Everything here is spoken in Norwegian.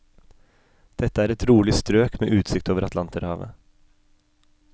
Dette er et rolig strøk med utsikt over atlanterhavet.